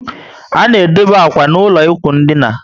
A na edobe akwa n' ụlọ ikwụ ndina